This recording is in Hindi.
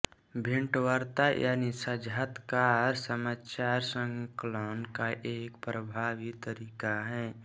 भेंटवार्ता यानी साक्षात्कार समाचार संकलन का एक प्रभावी तरीका है